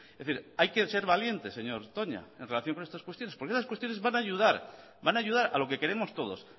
decir hay que ser valientes señor toña en relación con estas cuestiones porque esas cuestiones van a ayudar van a ayudar a lo que queremos todos